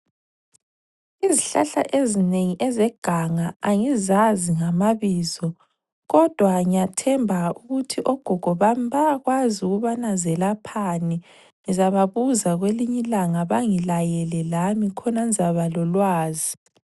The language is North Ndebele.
Izihlahla ezinengi ezeganga angizazi ngamabizo kodwa ngiyathemba ukuthi ogogo bami bayakwazi ukubana zelaphani. Ngizababuza kwelinyilanga bangilayele lami khona ngizaba lolwazi.